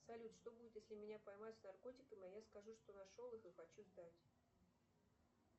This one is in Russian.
салют что будет если меня поймают с наркотиками а я скажу что нашел их и хочу сдать